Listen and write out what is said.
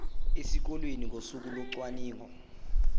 esikoleni ngosuku locwaningo